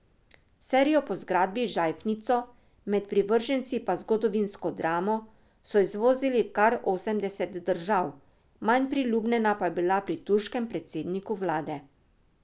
Serijo, po zgradbi žajfnico, med privrženci pa zgodovinsko dramo, so izvozili v kar osemdeset držav, manj priljubljena pa je bila pri turškem predsedniku vlade.